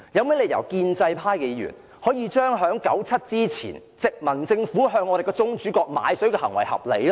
為何建制派議員將1997年前殖民地政府向宗主國買水的行為合理化呢？